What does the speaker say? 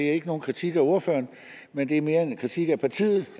det er ikke nogen kritik af ordføreren men det er mere en kritik af partiet